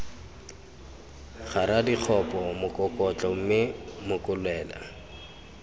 kgara dikgopo mokokotlo mme mokolela